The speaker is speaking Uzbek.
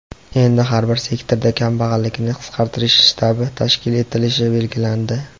Endi har bir sektorda "Kambag‘allikni qisqartirish shtabi" tashkil etilishi belgilandi.